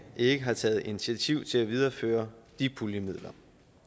ikke har taget initiativ til at videreføre de puljemidler